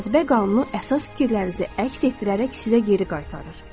Cazibə qanunu əsas fikirlərinizi əks etdirərək sizə geri qaytarır.